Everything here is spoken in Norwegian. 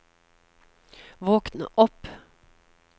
våkn opp